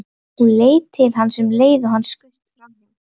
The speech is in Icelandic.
Hún leit til hans um leið og hann skaust framhjá.